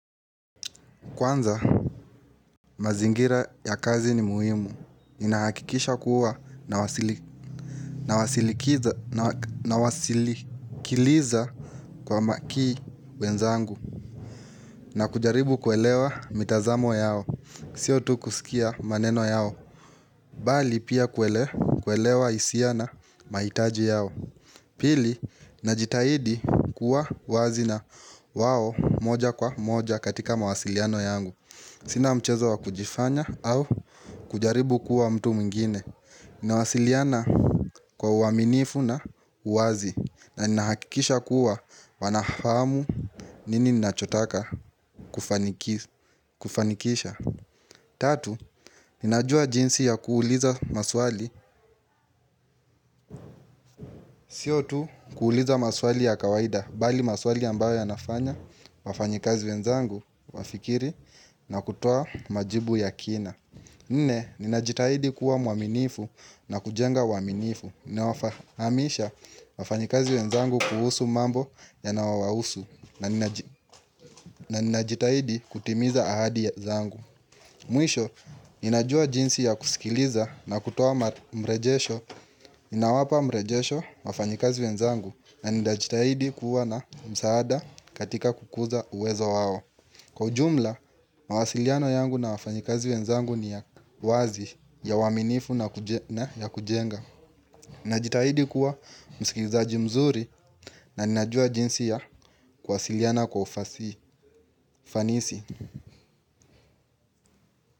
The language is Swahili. Kwanza mazingira ya kazi ni muhimu, inahakikisha kuwa na wasikiliza kwa makini wenzangu na kujaribu kuelewa mitazamo yao, sio tu kusikia maneno yao, bali pia kuelewa hisia na mahitaji yao. Pili, najitahidi kuwa wazi na wao moja kwa moja katika mawasiliano yangu Sina mchezo wa kujifanya au kujaribu kuwa mtu mwingine Nawasiliana kwa uaminifu na uwazi nani nahakikisha kuwa wanahamu nini nachotaka kufanikisha Tatu, ninajua jinsi ya kuuliza maswali Sio tu kuuliza maswali ya kawaida bali maswali ambayo ya nafanya, wafanyikazi wenzangu, wafikiri na kutoa majibu ya kina. Nne, ninajitahidi kuwa mwaminifu na kujenga uwaminifu. Ninawafahamisha wafanyikazi wenzangu kuhusu mambo yanayowahusu na ninajitahidi kutimiza ahadi zangu. Mwisho, ninajua jinsi ya kusikiliza na kutoa mrejesho, inawapa mrejesho wafanyikazi wenzangu na ninajitahidi kuwa na msaada katika kukuza uwezo wao Kwa ujumla, mawasiliano yangu na wafanyikazi wenzangu ni ya wazi ya uaminifu na kujenga Ninajitahidi kuwa msikilizaji mzuri na ninajua jinsi ya kuwasiliana kwa ufanisi.